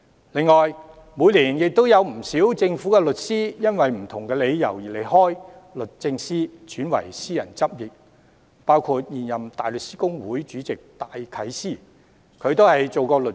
此外，每年也有不少政府律師由於不同理由離開律政司，轉為私人執業，當中包括現任大律師公會主席戴啟思。